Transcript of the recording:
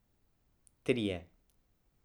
Trije.